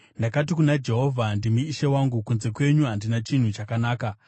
Ndakati kuna Jehovha, “Ndimi Ishe wangu; kunze kwenyu handina chinhu chakanaka.”